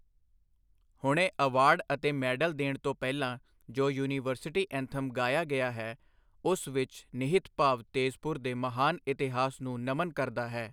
ਹੁਣੇ ਅਵਾਰਡ ਅਤੇ ਮੈਡਲ ਦੇਣ ਤੋਂ ਪਹਿਲਾਂ ਜੋ ਯੂਨੀਵਰਸਿਟੀ ਐਂਥਮ ਗਾਇਆ ਗਿਆ ਹੈ, ਉਸ ਵਿੱਚ ਨਿਹਿਤ ਭਾਵ ਤੇਜ਼ਪੁਰ ਦੇ ਮਹਾਨ ਇਤਿਹਾਸ ਨੂੰ ਨਮਨ ਕਰਦਾ ਹੈ।